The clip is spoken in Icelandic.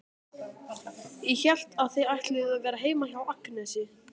Ég hélt að þið ætluðuð að vera heima hjá Agnesi.